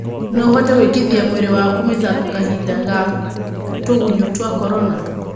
No ũhote gwĩkithia mwĩrĩ waku mĩthako kahinda ga tũgunyũtwa Korona?